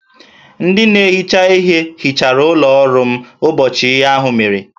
Ndị na-ehicha ihe hichara ụlọ ọrụ m ụbọchị ihe ahụ mere